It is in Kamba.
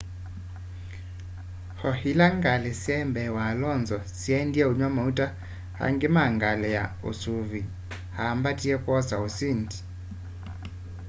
o ila ngali syai mbee wa alonso syaendie unywa mauta ungu wa ngali ya usuvîi aambatie kwosa usindi